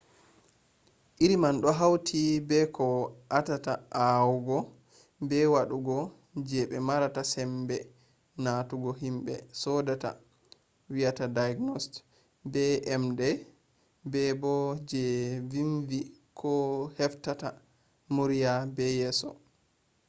iriri man do hauti be koh atata huwugo be wadugo je be marata sambe notugo himbe sodata diagnosed be emde bebo je vinvi koh heftata murya be yeso